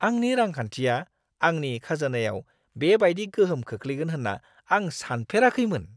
आंनि रांखान्थिया आंनि खाजोनायाव बेबायदि गोहोम खोख्लैगोन होन्ना आं सानफेराखैमोन!